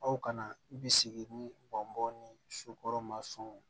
Aw kana bisigi ni bɔnbɔn ni sokɔrɔma sɔn